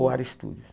OAR Estúdio.